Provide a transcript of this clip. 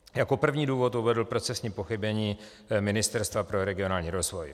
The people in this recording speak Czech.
Jako první důvod uvedl procesní pochybení Ministerstva pro regionální rozvoj.